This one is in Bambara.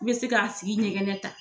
I be se ka tigi ɲɛgɛnɛ ta.